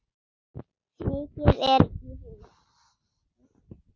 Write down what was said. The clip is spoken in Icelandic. Mikið er í húfi.